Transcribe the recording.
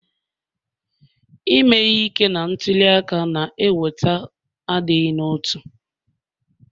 Ime ihe ike na ntuli aka na-eweta adịghị n'otu